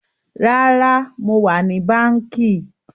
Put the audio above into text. Rárá, mo wà ní báńkì